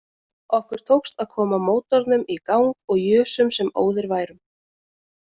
Okkur tókst að koma mótornum í gang og jusum sem óðir værum